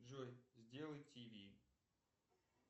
джой сделай тв